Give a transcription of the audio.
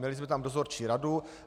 Měli jsme tam dozorčí radu.